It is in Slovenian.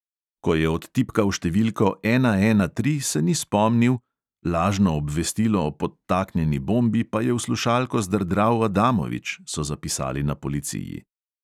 Ko je odtipkal številko ena ena tri, se ni spomnil, lažno obvestilo o podtaknjeni bombi pa je v slušalko zdrdral adamovič, so zapisali na policiji.